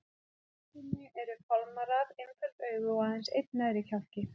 Á höfðinu eru fálmarar, einföld augu og aðeins einn neðri kjálki.